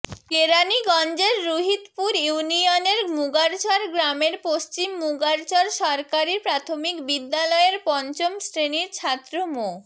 কেরাণীগঞ্জের রুহিতপুর ইউনিয়নের মুগারচর গ্রামের পশ্চিম মুগারচর সরকারি প্রাথমিক বিদ্যালয়ের পঞ্চম শ্রেণির ছাত্র মো